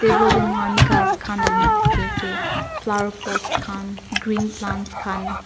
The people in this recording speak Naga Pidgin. table de mukan kas kan dalina diki ase flower pots kan green plants kan.